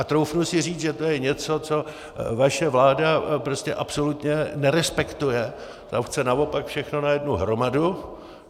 A troufnu si říct, že to je něco, co vaše vláda prostě absolutně nerespektuje, tam chce naopak všechno na jednu hromadu.